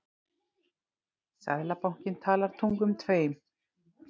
Seðlabankinn talar tungum tveim